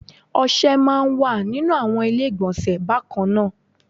Ọṣẹ máa ń wà nínú àwọn ilé ìgbọ̀nsẹ̀ bákan náà